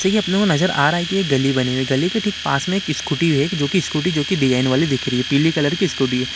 जैसा की अपने को नजर आ रहा है की एक गली बनी हुई है गली के ठीक पास में एक स्कूटी है जो की स्कूटी जो की डिजायन वाली दिख रही है पिली कलर की स्कूटी है।